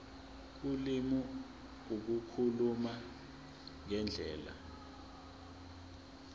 ulimi ukukhuluma ngendlela